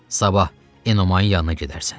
Sabah Enomayın yanına gedərsən.